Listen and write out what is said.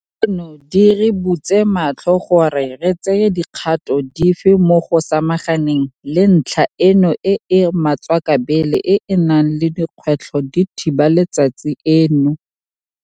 Tseno di re butse matlho gore re tseye dikgato dife mo go samaganeng le ntlha eno e e matswakabele e e nang le dikgwetlho di thiba letsatsi eno.